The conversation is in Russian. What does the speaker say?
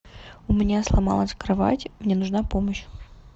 у меня сломалась кровать мне нужна помощь